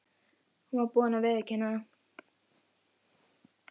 Hún var búin að viðurkenna það.